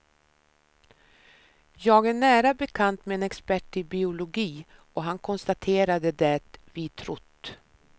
Jag är nära bekant med en expert i biologi och han konstaterade det vi trott.